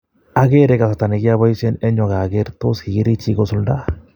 Akere kasarta nikioboisien en yuu ak aker tos kikirikyi kosulda.